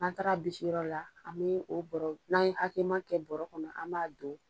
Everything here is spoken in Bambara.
N'an taara bisi yɔrɔ la, an me o bɔro, n'a ye hakɛma kɛ bɔro kɔnɔ, an m'a don